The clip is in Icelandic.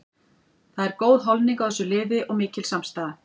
Það er góð holning á þessu liði og mikil samstaða.